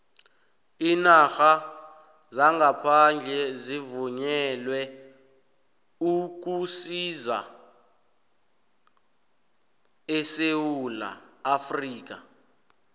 iinarha zangaphandle zivunyelwe ukusisa esewula afrika